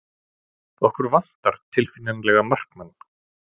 Okkur vantar tilfinnanlega markmann.